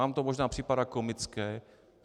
Vám to možná připadá komické.